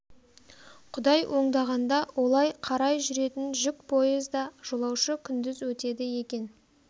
құдай оңдағанда олай қарай жүретін жүк поезда жолаушы күндіз өтеді екен